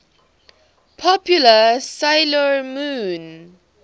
popular 'sailor moon